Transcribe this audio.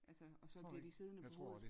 altså og så bliver de siddende på hovedet